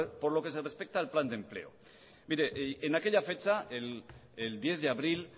por lo que se respeta al plan de empleo en aquella fecha el diez de abril